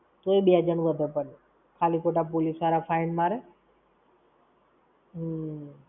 તોય બે જણ વધે પણ. ખાલી-ખોટા police વાળા fine મારે!